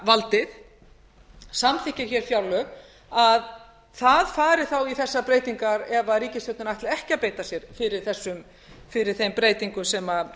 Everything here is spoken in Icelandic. fjárlagavaldið samþykkir hér fjárlög að það fari þá í þessar breytingar ef ríkisstjórnin ætlar ekki að beita sér fyrir þeim